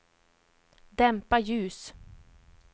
dämpa ljus